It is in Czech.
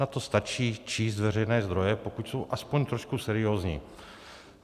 Na to stačí číst veřejné zdroje, pokud jsou aspoň trochu seriózní.